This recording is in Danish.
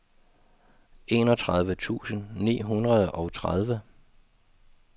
enogtredive tusind ni hundrede og tredive